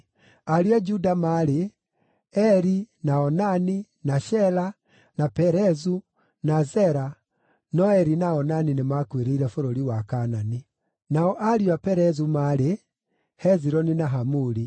Ariũ a Juda maarĩ: Eri, na Onani, na Shela, na Perezu, na Zera (no Eri na Onani nĩmakuĩrĩire bũrũri wa Kaanani.) Nao ariũ a Perezu maarĩ: Hezironi na Hamuli.